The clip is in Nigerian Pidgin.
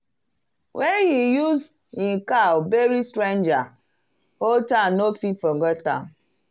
when he use him cow bury stranger whole town no fit forget am.